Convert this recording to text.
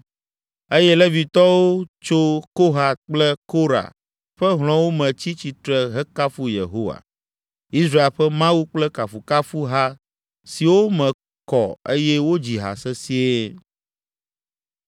Eye Levitɔwo tso Kohat kple Korah ƒe hlɔ̃wo me tsi tsitre hekafu Yehowa, Israel ƒe Mawu kple kafukafuha siwo me kɔ eye wodzi ha sesĩe.